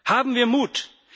Haben wir Mut!